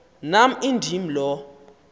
nam indim lo